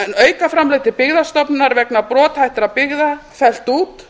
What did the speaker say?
aukaframlag til byggðastofnunar vegna brothættra byggða fellt út